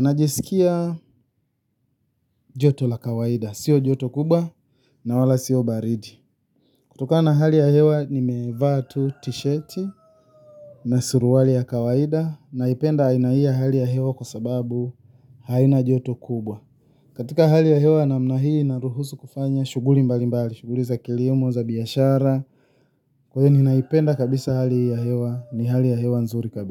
Najisikia joto la kawaida, sio joto kubwa na wala sio baridi. Kutokana hali ya hewa nimevaa tu t-shirt na suruali ya kawaida naipenda aina hii yaa hali ya hewa kwa sababu haina joto kubwa. Katika hali ya hewa na mnahii naruhusu kufanya shuguli mbali mbali, shuguli za kilimo za biyashara. Kwa hini naipenda kabisa hali ya hewa. Ni hali ya hewa nzuri kabisa.